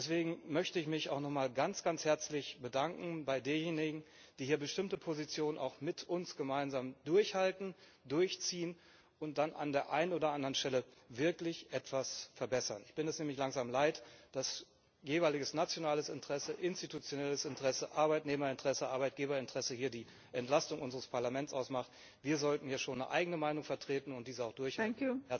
Deswegen möchte ich mich auch noch mal ganz herzlich bei denjenigen bedanken, die hier bestimmte Positionen mit uns gemeinsam durchhalten, durchziehen und dann an der einen oder anderen Stelle wirklich etwas verbessern. Ich bin es nämlich langsam leid, dass hier das jeweilige nationale Interesse, institutionelle Interesse, Arbeitnehmerinteresse, Arbeitgeberinteresse die Entlastung unseres Parlaments ausmacht. Wir sollten ja schon eine eigene Meinung vertreten und diese auch durchhalten.